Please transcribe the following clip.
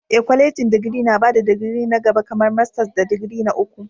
Ee, kwalejin digiri na ba da digiri na gaba kamar masters da digiri na uku.